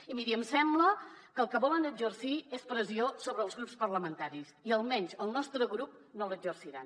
i miri em sembla que el que volen exercir és pressió sobre els grups parlamentaris i almenys sobre el nostre grup no n’exerciran